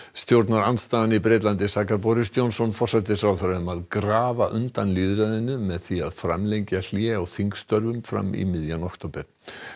stjórnarandstaðan í Bretlandi sakar Boris Johnson forsætisráðherra um að grafa undan lýðræðinu með því að framlengja hlé á störfum fram í miðjan október